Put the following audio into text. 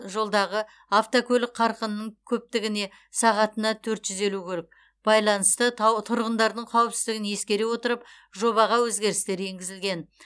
жолдағы автокөлік қарқынының көптігіне сағатына төрт жүз елу көлік байланысты тау тұрғындардың қауіпсіздігін ескере отырып жобаға өзгерістер енгізілген